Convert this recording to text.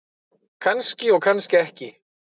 Kannski og kannski ekki.